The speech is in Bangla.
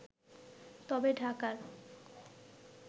তবে ঢাকার